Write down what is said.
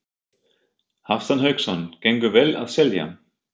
Hafsteinn Hauksson: Gengur vel að selja?